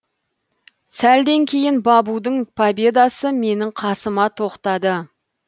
сәлден кейін бабудың победасы менің қасыма тоқтады